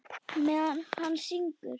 Meðan hann syngur.